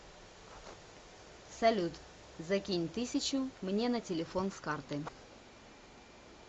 салют закинь тысячу мне на телефон с карты